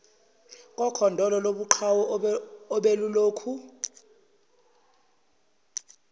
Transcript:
kokhondolo lobuqhawe obelulokhu